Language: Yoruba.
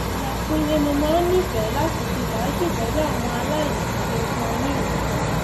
lọọyà kúnlẹ mo máa ń nífẹẹ láti ṣe fàájì pẹlú àwọn aláìní kí n fún wọn ní nǹkan